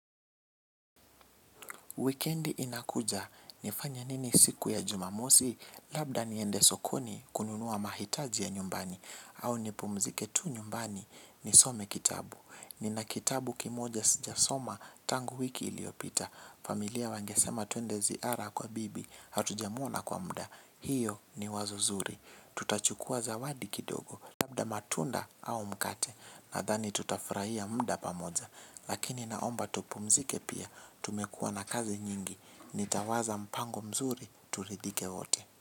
Wikendi inakuja, nifanye nini siku ya jumamosi, labda niende sokoni kununua mahitaji ya nyumbani, au nipumzike tu nyumbani nisome kitabu. Nina kitabu kimoja sijasoma tangu wiki iliopita, familia wangesema tuende ziara kwa bibi, hatujamuona kwa mda, hiyo ni wazo zuri. Tutachukua zawadi kidogo. Labda matunda au mkate. Nadhani tutafurahia mda pamoja. Lakini naomba tupumzike pia. Tumekua na kazi nyingi. Nitawaza mpango mzuri. Turidhike wote.